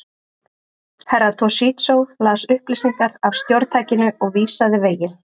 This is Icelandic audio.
Herra Toshizo las upplýsingar af stjórntækinu og vísaði veginn.